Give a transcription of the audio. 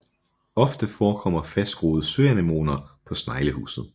Ofte forekommer fastgroede søanemoner på sneglehuset